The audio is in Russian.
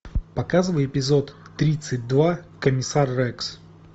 показывай эпизод тридцать два комиссар рекс